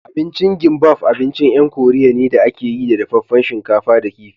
Abincin gimbaf abincin 'yan koriya ne da a ke yi da dafaffen shinkafa da kifi